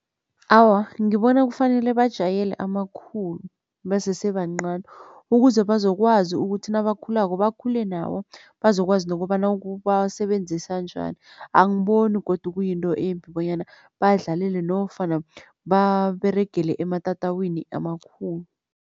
Awa, ngibona kufanele bajayele amakhulu basese bancani ukuze bazokwazi ukuthi nabakhulako bakhule nawo bazokwazi nokobana ukuwasebenzisa njani, angiboni godu kuyinto embi bonyana badlalele nofana baberegele ematatawini amakhulu.